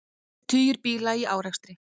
Tugir bíla í árekstri